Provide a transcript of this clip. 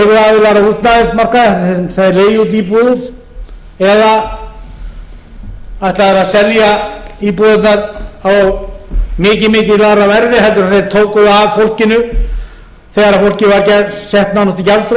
leiguaðilar á húsnæðismarkaði þeir leigi út íbúðir eða ætla þeir að selja íbúðirnar á mikið mikið lægra verði en þeir tóku þær af fólkinu þegar fólkið var sett nánast i